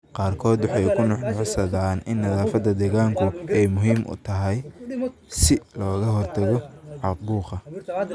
Qaarkood waxay ku nuuxnuuxsadaan in nadaafadda deegaanku ay muhiim tahay si looga hortago caabuqa.